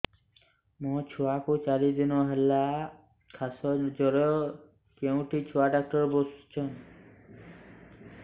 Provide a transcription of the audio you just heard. ମୋ ଛୁଆ କୁ ଚାରି ଦିନ ହେଲା ଖାସ ଜର କେଉଁଠି ଛୁଆ ଡାକ୍ତର ଵସ୍ଛନ୍